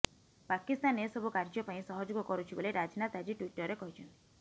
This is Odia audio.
ପାକିସ୍ତାନ ଏସବୁ କାର୍ଯ୍ୟ ପାଇଁ ସହଯୋଗ କରୁଛି ବୋଲି ରାଜନାଥ ଆଜି ଟ୍ବିଟରରେ କହିଛନ୍ତି